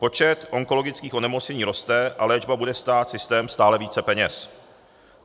Počet onkologických onemocnění roste a léčba bude stát systém stále více peněz.